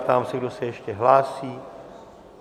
Ptám se, kdo se ještě hlásí?